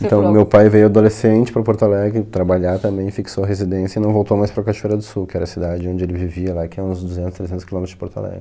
Então, meu pai veio adolescente para Porto Alegre, trabalhar também, fixou a residência e não voltou mais para Cachoeira do Sul, que era a cidade onde ele vivia lá, que é uns duzentos, trezentos quilômetros de Porto Alegre.